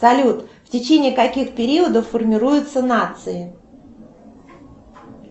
салют в течении каких периодов формируются нации